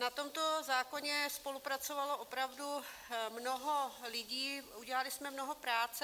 Na tomto zákoně spolupracovalo opravdu mnoho lidí, udělali jsme mnoho práce.